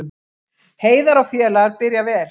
Heiðar og félagar byrja vel